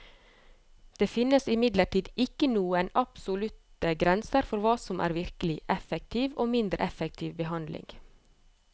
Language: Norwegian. Det finnes imidlertid ikke noen absolutte grenser for hva som er virkelig effektiv og mindre effektiv behandling.